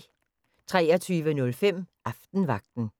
23:05: Aftenvagten